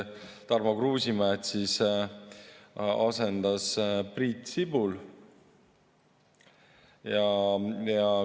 Tarmo Kruusimäed asendas Priit Sibul.